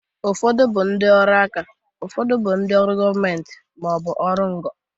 Ụfọdụ bụ ndị ọrụ aka, ụfọdụ bụrụ ndị ọrụ gọmenti ma ọ bụ ọrụ ngo.